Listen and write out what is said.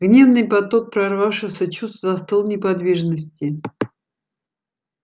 гневный поток прорвавшихся чувств застыл в неподвижности